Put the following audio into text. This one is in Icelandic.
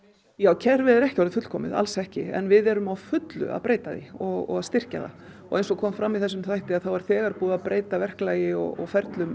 kerfið er ekki orðið fullkomið alls ekki en við erum á fullu að breyta því og styrkja það eins og kom fram í þessum þætti er þegar búið að breyta verklagi og ferlum